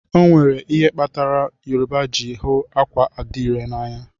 Onwere ihe kpatara Yoruba ji hụ akwa adire na anya.